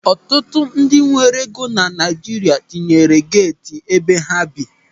Ọtụtụ ndị nwere ego na Naịjirịa na-etinye geeti n'ebe ha bi.